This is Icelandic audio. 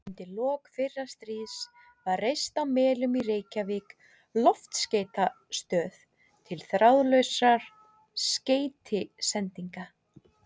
Undir lok fyrra stríðs var reist á Melunum í Reykjavík loftskeytastöð til þráðlausra skeytasendinga.